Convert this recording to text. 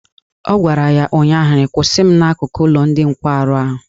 Ọ gwara ya ụnyaahụ " Kwụsị m n'akụkụ ụlọ ndị nkwarụ ahụ!